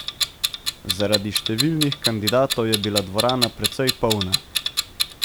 Zaradi številnih kandidatov je bila dvorana precej polna.